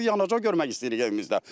Mavi yanacaq görmək istəyirik evimizdə.